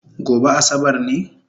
Gobe asabar ne?